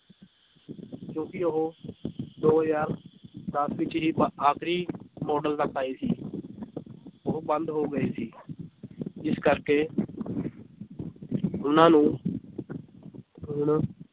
ਕਿਉਂਕਿ ਉਹ ਦੋ ਹਜ਼ਾਰ ਦਸ ਵਿੱਚ ਬ ਆਖ਼ਰੀ ਮਾਡਲ ਤੱਕ ਆਏ ਸੀ ਉਹ ਬੰਦ ਹੋ ਗਏ ਸੀ ਜਿਸ ਕਰਕੇ ਉਹਨਾਂ ਨੂੰ ਹੁਣ